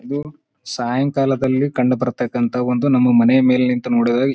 ಇದು ಸಾಯಂಕಾಲದಲ್ಲಿ ಕಂಡುಬರ್ತಾಕಂತ ಒಂದು ನಮ್ಮ ಮನೆಯ ಮೇಲೆ ನಿಂತು ನೋಡಿದಾಗ --